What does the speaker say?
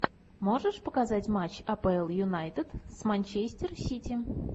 можешь показать матч апл юнайтед с манчестер сити